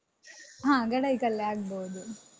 ಹ ಗಡಾಯಿಕಲ್ಲೇ ಆಗ್ಬೋದು.